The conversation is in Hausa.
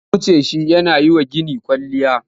Sun wuce shi yana yi wa gini kwalliya.